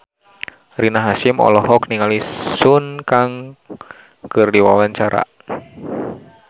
Rina Hasyim olohok ningali Sun Kang keur diwawancara